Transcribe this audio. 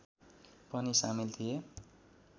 पनि सामिल थिए